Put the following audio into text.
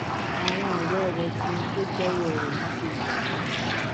àwọn òré rè fi ohun tó jéwó rè yìí ṣe yèyé